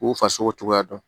K'u fasogo cogoya dɔn